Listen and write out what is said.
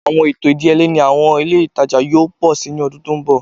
Awọn eto idiyele ni awọn ile itaja yoo pọ si ni ọdun to n bọ